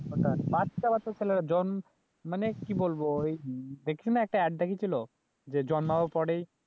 ওটায় বাচ্চা বাচ্চা ছেলেরা মানে কি বলবো ওই দেখছিল না একটা এড দেখিয়েছিল যে জন্মাবর পরেই